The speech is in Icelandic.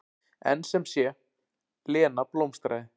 En sem sé, Lena blómstraði.